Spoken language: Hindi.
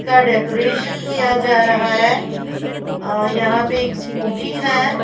का डेकोरेशन किया जा रहा है अ यहां पे एक स्कूटी है।